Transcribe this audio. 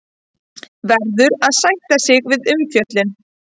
Verður að sætta sig við umfjöllun